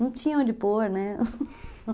Não tinha onde pôr, né?